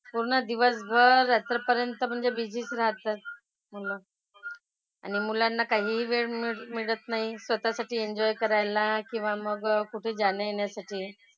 पूर्ण दिवसभर रात्रीपर्यंत म्हणजे बिझी च राहतात. मुलं. आणि मुलांना काहीही वेळ मिळत नाही स्वतःसाठी एन्जॉय करायला किंवा मग कुठे जाण्यायेण्यासाठी.